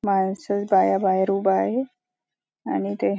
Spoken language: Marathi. माणस माणस बाया बाहेर उभ आहे आणि ते --